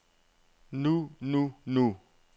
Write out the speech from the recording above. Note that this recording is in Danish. nu nu nu